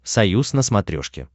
союз на смотрешке